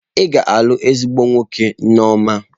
Ị ga-alụ ezigbo nwoke, Nneoma.